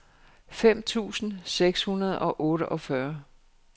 fem tusind seks hundrede og otteogfyrre